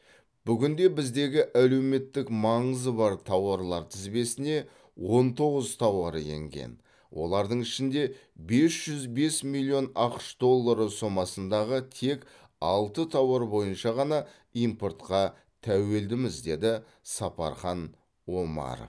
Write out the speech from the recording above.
бүгінде біздегі әлеуметтік маңызы бар тауарлар тізбесіне он тоғыз тауар енген олардың ішінде бес жүз бес миллион ақш доллары сомасындағы тек алты тауар бойынша ғана импортқа тәуелдіміз деді сапархан омаров